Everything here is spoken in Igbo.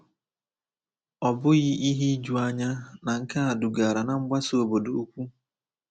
Ọ bụghị ihe ijuanya na nke a dugara ná mgbasa obodo ukwu.